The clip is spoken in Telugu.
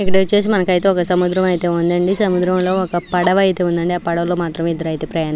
ఇక్కడ ఐతే ఒక సముద్రం ఉంది అండి సముద్రంలో ఒక పడవ ఉంది అండి ఆ పడవలో ఇద్దరు ఇదే ప్రయాణిస్తున్నారు --